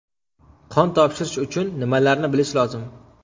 Qon topshirish uchun nimalarni bilish lozim?